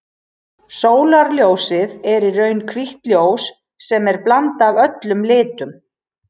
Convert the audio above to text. Sólarljósið er í raun hvítt ljós sem er blanda af öllum litum.